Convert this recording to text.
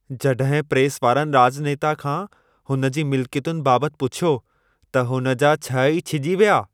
जॾहिं प्रेस वारनि राॼनेता खां हुन जी मिलिकियतुनि बाबति पुछियो, त हुन जा छह ई छिॼी विया!